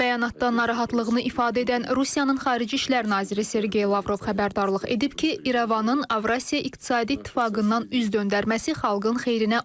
Son bəyanatdan narahatlığını ifadə edən Rusiyanın xarici işlər naziri Sergey Lavrov xəbərdarlıq edib ki, İrəvanın Avrasiya İqtisadi İttifaqından üz döndərməsi xalqın xeyrinə olmayacaq.